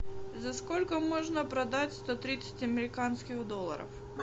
за сколько можно продать сто тридцать американских долларов